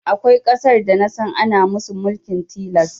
Akwai ƙasar da nasan ana musu mulkin tilas